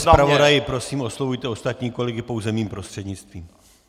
Pane zpravodaji, prosím oslovujte ostatní kolegy pouze mým prostřednictvím.